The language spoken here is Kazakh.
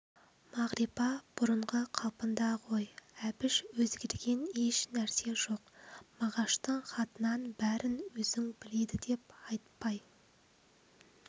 мағрипа бұрынғы қалпында ғой әбіш өзгерген еш нәрсе жоқ мағаштың хатынан бәрін өзің біледі деп айтпай